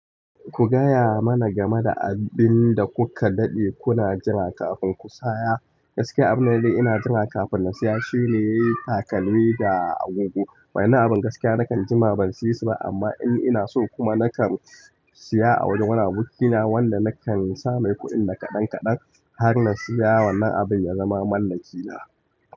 Ku gaya mana game da abun da kuka daɗe kuna jiran kafin ku saya. Gaskiya abun da na daɗe ina jira kafin na siya shine takalmi da agogo. Wa'inan abun gaskiya nakan jima ban saya su ba amma in ina so kuma nakan. Siya a wajen wani abokina wanda nakan sa mai kuɗin da kaɗan kaɗan har na siya wannan abin ya zama mallakina.